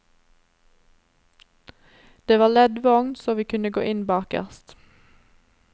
Det var leddvogn, så vi kunne gå inn bakerst.